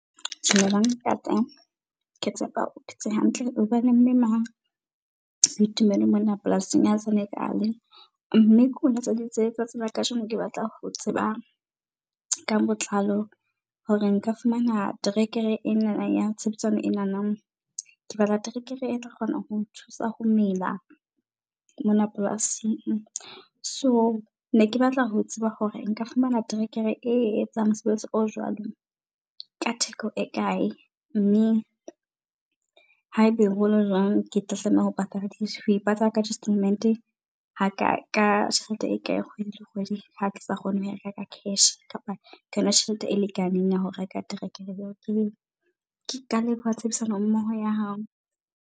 Dumelang ntate, ke tshepa o phetse hantle. O bua le Mme MaBoitumelo mona polasing ya Senekal. Mme ke o letseditse tsatsi la kajeno ke batla ho tseba ka botlalo hore nka fumana terekere enana ya enana. Ke batla terekere e tla kgona ho nthusa ho mela mona polasing. So ne ke batla ho tseba hore nka fumana terekere e etsang mosebetsi o jwalo ka theko e kae, mme ha ebe hole jwang ke tla tlameha ho patala ha kae, ka tjhelete e kae kgwedi le kgwedi ha ke sa kgone ho e reka cash kapa ka yona tjhelete e lekaneng ya ho reka terekere eo. Ke ka leboha tshebedisano mmoho ya hao.